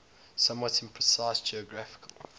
somewhat imprecise geographical